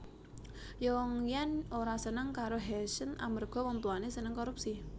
Yongyan ora seneng karo Heshen amarga wong tuwane seneng korupsi